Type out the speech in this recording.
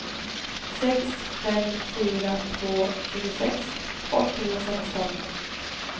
sex fem fyra två tjugosex åttahundrasexton